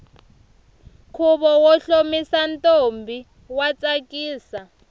khuvo wo hlomisa ntombi wa tsakisa